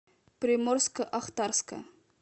приморско ахтарска